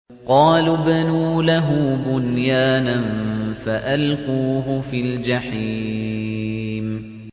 قَالُوا ابْنُوا لَهُ بُنْيَانًا فَأَلْقُوهُ فِي الْجَحِيمِ